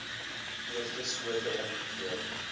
eerste skote ongeveer